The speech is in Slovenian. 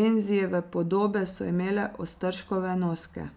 Renzijeve podobe so imele Ostržkove noske.